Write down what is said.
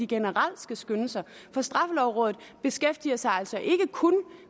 generelt skal skynde sig for straffelovrådet beskæftiger sig altså ikke kun